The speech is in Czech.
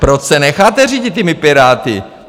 Proč se necháte řídit těmi Piráty?